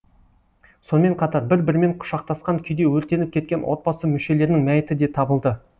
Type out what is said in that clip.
сонымен қатар бір бірімен құшақтасқан күйде өртеніп кеткен отбасы мүшелерінің мәйіті де табылды